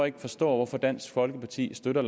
ikke forstår hvorfor dansk folkeparti støtter